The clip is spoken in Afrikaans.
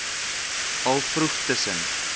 al vroeg tussen